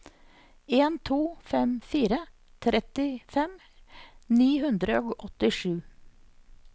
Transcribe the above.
en to fem fire trettifem ni hundre og åttisju